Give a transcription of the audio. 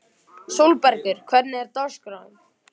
Sólbergur, hvernig er dagskráin?